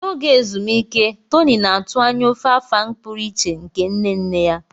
N'oge ezumike, Tony na-atụ anya ofe Afang pụrụ iche nke nne nne ya.